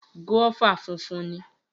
guaba funfun ni.